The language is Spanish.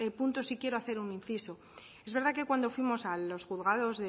punto sí quiero hacer un inciso es verdad que cuando fuimos a los juzgados